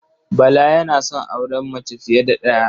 Bala yana son auren mace fiye da ɗaya.